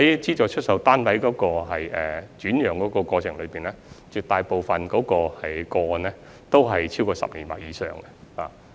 資助出售單位的轉讓，絕大部分個案都超過10年或以上。